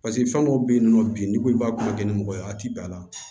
Paseke fɛn dɔw bɛ yen nɔ bi n'i ko i b'a ko ni mɔgɔ ye a tɛ bɛn a la